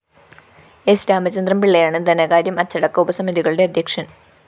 സ്‌ രാമചന്ദ്രന്‍ പിള്ളയാണ് ധനകാര്യം അച്ചടക്ക ഉപസമിതികളുടെ അദ്ധ്യക്ഷന്‍